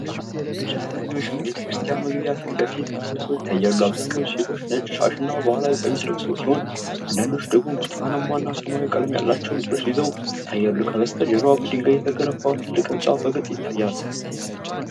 ብዙ አማኞች በቤተክርስቲያን መግቢያ ፊት ለፊት ተሰብስበው ይታያሉ። አብዛኞቹ ሴቶች ነጭ ሻሽና ባህላዊ ቀሚስ ለብሰው ሲሆን፣ አንዳንዶቹ ደግሞ ብርቱካናማና ሰማያዊ ቀለም ያላቸው ልብሶች ይዘው ይታያሉ። ከበስተጀርባ በድንጋይ የተገነባ ትልቅ ሕንፃ በግልጽ ይታያል።